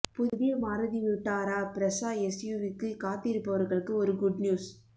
புதிய Maruti Vitara Brezza எஸ்யூவிக்கு காத்திருப்பவர்களுக்கு ஒரு குட் நியூஸ்